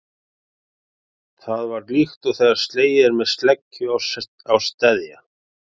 Það var líkt og þegar slegið er með sleggju á steðja.